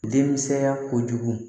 Denmisɛnya kojugu